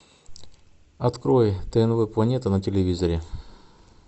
открой тнв планета на телевизоре